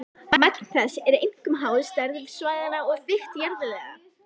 Magn þess er einkum háð stærð svæðanna og þykkt jarðlaga.